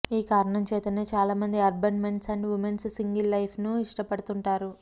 ఈ కారణం చేతనే చాలా మంది urban men's and women's single life ను ఇష్టపడుతుంటారు